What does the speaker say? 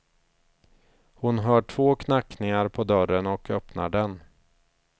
Hon hör två knackningar på dörren och öppnar den.